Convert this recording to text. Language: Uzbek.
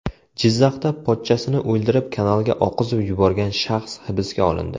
Jizzaxda pochchasini o‘ldirib, kanalga oqizib yuborgan shaxs hibsga olindi.